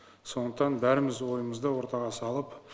сондықтан бәріміз ойымызды ортаға салып